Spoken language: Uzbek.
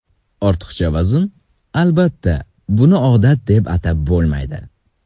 Ortiqcha vazn Albatta, buni odat deb atab bo‘lmaydi.